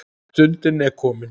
Stundin er komin.